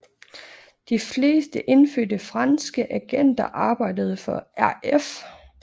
De fleste indfødte franske agenter arbejdede for RF